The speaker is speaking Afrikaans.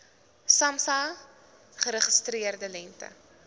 samsa geregistreerde lengte